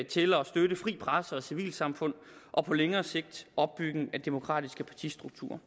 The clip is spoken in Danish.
til at støtte fri presse og civilsamfund og på længere sigt opbygning af demokratiske partistrukturer